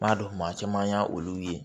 N b'a dɔn maa caman y'a olu ye